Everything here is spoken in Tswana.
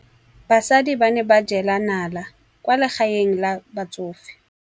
Basadi ba ne ba jela nala kwaa legaeng la batsofe.